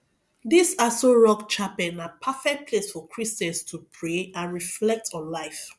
dis aso rock chapel na perfect place for christians to pray and reflect on life